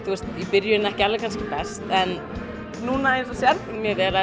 í byrjun ekki best en núna mjög vel